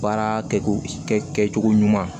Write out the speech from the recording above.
Baara kɛcogo kɛcogo ɲuman